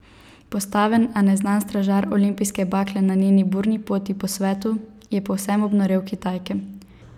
Postaven, a neznan stražar olimpijske bakle na njeni burni poti po svetu, je povsem obnorel Kitajke.